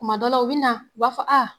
Tuma dɔ la u bɛ na u b'a fɔ